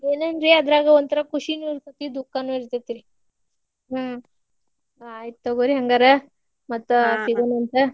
ಏನನ್ರೀ ಅದ್ರಾಗ ಒಂಥರಾ ಖುಷಿನು ಇರ್ತೇತಿ ದುಃಖನು ಇರ್ತೇತಿ ಹ್ಮ್‌ ಆಯಿತ್ತ್ ತಗೋರಿ ಹಂಗಾರ ಮತ್ತ್ ಸಿಗುಣಾಂತ.